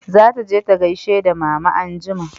Za ta je ta gaishe da mama anjima